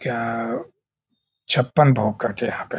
क्या छप्पन भोग करकेयहाँ पे --